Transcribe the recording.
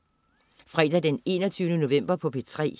Fredag den 21. november - P3: